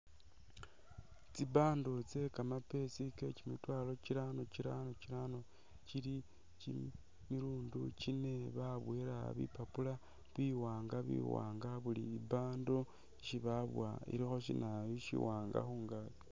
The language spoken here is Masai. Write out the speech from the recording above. Tsi bundle tse kamaapesi kekyi mitwalo kyi’rano kyi’rano kyili kyimilundu kyine babowela bipapula biwanga biwanga buli i’bundle isi babowa ilikho sinayu shawanga khungakyi.